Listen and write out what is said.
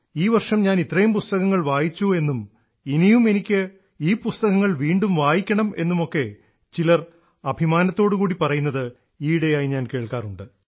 ഈ വർഷം ഞാൻ ഇത്രയും പുസ്തകങ്ങൾ വായിച്ചു എന്നും ഇനിയും എനിക്ക് ഈ പുസ്തകങ്ങൾ വീണ്ടും വായിക്കണം എന്നും ഒക്കെ ചിലർ അഭിമാനത്തോടുകൂടി പറയുന്നത് ഈയിടെയായി ഞാൻ കേൾക്കാറുണ്ട്